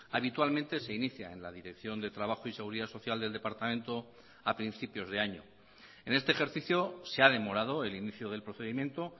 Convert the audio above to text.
habitualmente se inicia en la dirección de trabajo y seguridad social del departamento a principios de año en este ejercicio se ha demorado el inicio del procedimiento